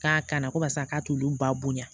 K'a kana ko karisa k'a t'olu ba bonya